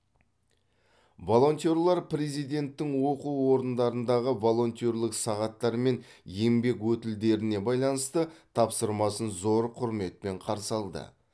волонтерлер президенттің оқу орындарындағы волонтерлік сағаттар мен еңбек өтілдеріне байланысты тапсырмасын зор құрметпен қарсы алды